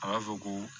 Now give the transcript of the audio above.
A b'a fɔ ko